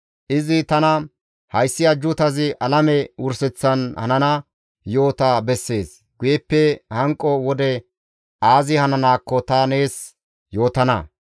Izi tana, «Hayssi ajjuutazi alame wurseththan hanana yo7ota bessees; guyeppe hanqo wode aazi hananaakko ta nees yootana.